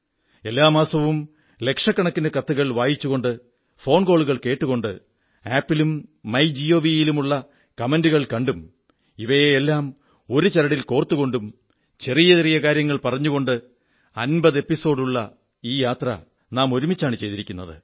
എല്ലാ മാസവും ലക്ഷക്കണക്കിന് കത്തുകൾ വായിച്ചുകൊണ്ട് ഫോൺകോളുകൾ കേട്ടുകൊണ്ട് ആപ് ലും മൈ ജിഒവി യിൽ ഉള്ള കമന്റുകൾ കണ്ടും ഇവയെ എല്ലാം ഒരു ചരടിൽ കോർത്തുകൊണ്ടും ചെറിയ ചെറിയ കാര്യങ്ങൾ പറഞ്ഞുകൊണ്ട് അമ്പതു സോപാനങ്ങളുള്ള ഈ യാത്ര നാം ഒരുമിച്ചാണ് ചെയ്തിരിക്കുന്നത്